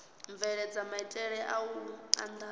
bveledza maitele a u andadza